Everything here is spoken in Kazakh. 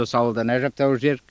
осы ауылдан әжептәуір жер